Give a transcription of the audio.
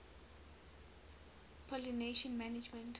pollination management